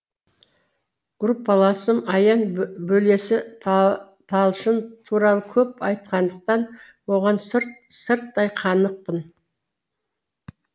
группаласым аян бөлесі талшын туралы көп айтқандықтан оған сырттай қанықпын